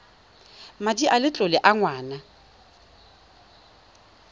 madi a letlole a ngwana